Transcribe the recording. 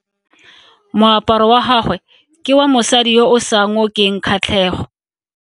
Moaparo wa gagwe ke wa mosadi yo o sa ngokeng kgatlhego.